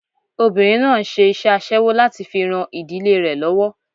Obinrin náà ń ṣe iṣẹ́ aṣẹ́wó láti fi ran ìdílé rẹ lọ́wọ́.